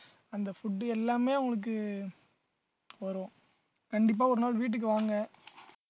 அந்த food எல்லாமே உங்களுக்கு வரும் கண்டிப்பா ஒரு நாள் வீட்டுக்கு வாங்க